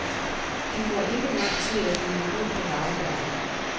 De får ikke lang tid til at hvile ud på laurbærrene.